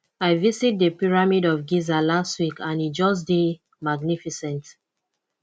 i visit the pyramid of giza last week and e just dey magnificent